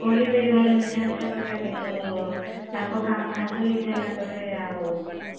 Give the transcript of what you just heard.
କହିବେ ଏଇ ଭଳିଆ ମିଠା ମିଠା କଥା କିନ୍ତୁ ତାଙ୍କ କାମ ହାସଲ୍ ହେଇ ସାରିଲା ପରେ ଆଉ